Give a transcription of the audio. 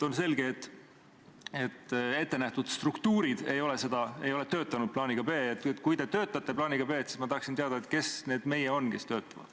On selge, et ettenähtud struktuurid ei ole töötanud plaaniga B. Kui te töötate plaaniga B, siis ma tahaksin teada, kes on need "meie", kes selle kallal töötavad.